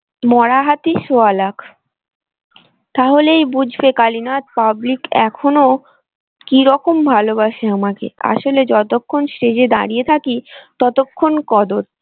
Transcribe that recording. মরা হাতি সোয়া লাখ তাহলে বুঝবে কালীনাথ public এখনো কিরকম ভালোবাসা আমাকে আসলে যতক্ষণ stage এ দাঁড়িয়ে থাকি ততক্ষণ কদর।